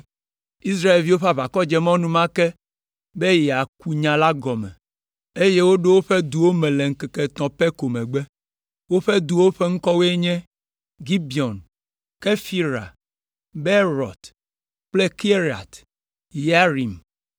Israelviwo ƒe aʋakɔ dze mɔ enumake be yeaku nya la gɔme, eye woɖo woƒe duwo me le ŋkeke etɔ̃ pɛ ko megbe. Woƒe duwo ƒe ŋkɔwoe nye: Gibeon, Kefira, Beerot kple Kiriat Yearim,